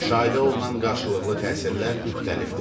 Müşahidə olunan qarşılıqlı təsirlər müxtəlifdir.